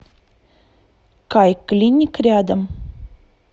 кайклиник рядом